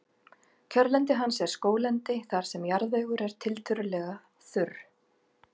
kjörlendi hans er skóglendi þar sem jarðvegur er tiltölulega þurr